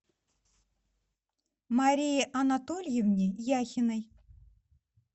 марии анатольевне яхиной